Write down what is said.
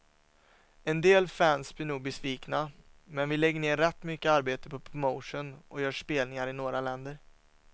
En del fans blir nog besvikna, men vi lägger ner rätt mycket arbete på promotion och gör spelningar i några länder.